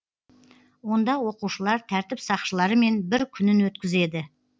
онда оқушылар тәртіп сақшыларымен бір күнін өткізеді